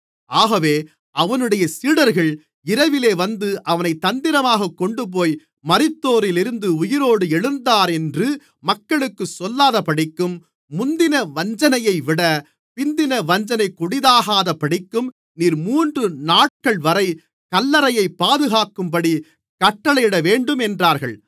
ஆகவே அவனுடைய சீடர்கள் இரவிலே வந்து அவனைத் தந்திரமாகக் கொண்டுபோய் மரித்தோரிலிருந்து உயிரோடு எழுந்தானென்று மக்களுக்குச் சொல்லாதபடிக்கும் முந்தின வஞ்சனையைவிட பிந்தின வஞ்சனை கொடிதாகாதபடிக்கும் நீர் மூன்று நாட்கள்வரை கல்லறையைப் பாதுகாக்கும்படி கட்டளையிடவேண்டும் என்றார்கள்